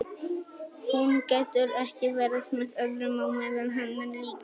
Hún getur ekki verið með öðrum á meðan hann er líka.